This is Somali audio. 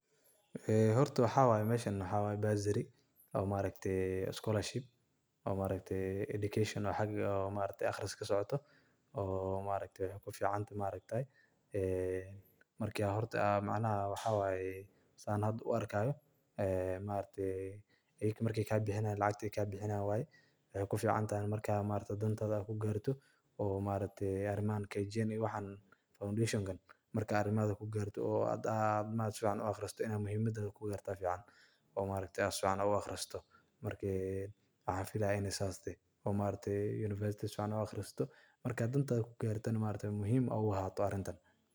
Hoorta maxwaye meshan, bursary oo maaragtay scorlership maaragtay Education xaga aqhariska kasocotoh, oo maaragtay fican ee marka horta macanaha maxawaye anika hada u arkahayo ayaga markat lacagta kabixiyan waye, mxay kuficanthay ina dantas ku kartoh oo maaragtay aremahan , foundation inta arimaha ku Gartoh aa suficanbu aqharisatah aremaha kugu yartahoo fican oo maaragtay sufican u aqharisatah mxa feelayoh inay sas tahay maaragtay university sufican u aqharisatah marka dantas ku Gartoh muhim AA u ahatoh arintan.